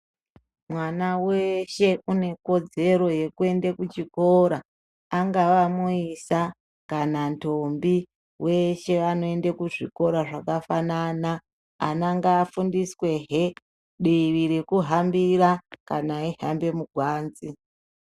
Mwana weshe une kodzero yeku ende kuchikora angava muisa kana ndombi weshe vano ende ku zvikora zvaka fanana ana ngava fundiswe hee divi reku hambira kana eyi hambe mugwanzi.